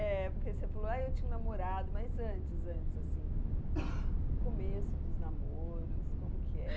É, porque você falou, ah, eu tinha um namorado, mas antes, antes assim, o começo dos namoros, como que era?